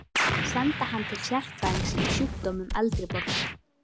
Senda hann til sérfræðings í sjúkdómum eldri borgara?